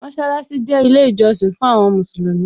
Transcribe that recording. Mósálásí jẹ́ ilé ìjọsìn fún àwọn Mùsùlùmí